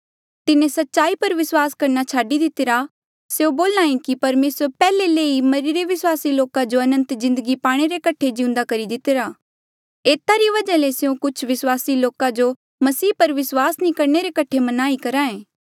तिन्हें सच्चाई पर विस्वास करणा छाडी दितिरा स्यों बोले कि परमेसरे पैहले ले ही मरिरे विस्वासी लोका जो अनंत जिन्दगी पाणे रे कठे जिउंदा करी दितिरा एता री वजहा ले स्यों कुछ विस्वासी लोका जो मसीह पर विस्वास नी करणे रे कठे मनाई कराये